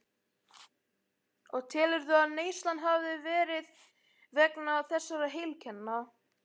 Og telurðu að neyslan hafi verið vegna þessara heilkenna?